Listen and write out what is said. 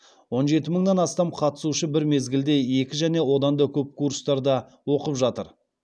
он жеті мыңнан астам қатысушы бір мезгілде екі және одан да көп курстарда оқып жатыр